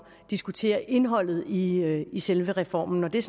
diskutere indholdet i i selve reformen og det er